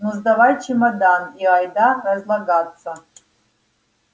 ну сдавай чемодан и айда разлагаться